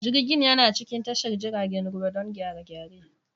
Jirgin yana cikin tashar jiragen ruwa don gyare-gyare.